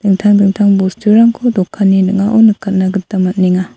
intang dingtang bosturangko dokanni ning·ao nikatna gita man·enga.